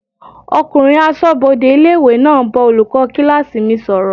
Ọkùnrin asọ́bodè ilé-ìwé náà ń bá olùkọ́ kílásì mi sọ̀rọ̀